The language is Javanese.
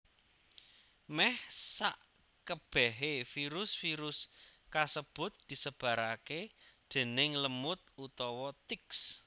Meh sakebehe virus virus kasebut disebarake déning lemut utawa ticks